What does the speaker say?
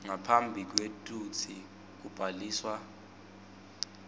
ngaphambi kwekutsi kubhaliswa